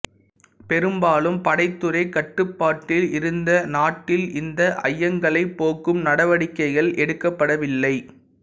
பெரும்பாலும் படைத்துறை கட்டுப்பாட்டில் இருந்த நாட்டில் இந்த ஐயங்களைப் போக்கும் நடவடிக்கைகள் எடுக்கப்படவில்லை